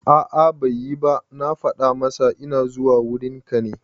A'a bai yi ba, na fada masa ina zuwa wurin ka ne